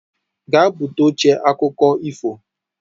Gaa-ebute oche akụkọ ifo